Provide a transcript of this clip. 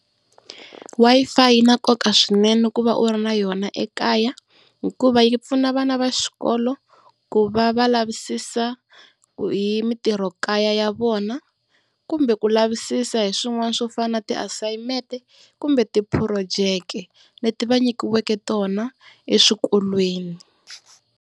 Wi-Fi yi na nkoka swinene ku va u ri na yona ekaya, hikuva yi pfuna vana va xikolo ku va va lavisisa hi mitirhokaya ya vona kumbe ku lavisisa hi swin'wana swo fana na tiasayimente kumbe ti-project-e leti va nyikiweke tona eswikolweni.